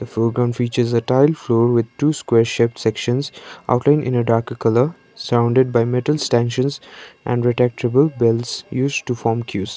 features a tile floor with two square shaped sections outline in a darker colour surrounded by metal and retractable belts used to form queues.